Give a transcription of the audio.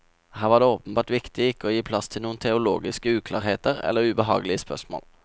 Her var det åpenbart viktig ikke å gi plass til noen teologiske uklarheter eller ubehagelige spørsmål.